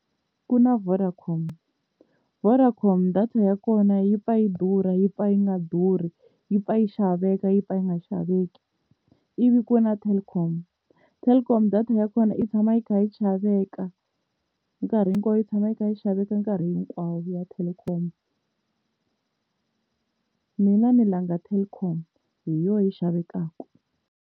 Ku na Vodacom, Vodacom data ya kona yi pfa yi durha yi pfa yi nga durhi yi pfa yi xaveka yi pfa yi nga xaveki, ivi ku va na Telkom, Telkom data ya ku vona yi tshama yi kha yi xaveka nkarhi hinkwawo yi tshama yi kha yi xaveka nkarhi hinkwawo ya Telkom. Mina ni langa Telkom hi yona yi xavekaka.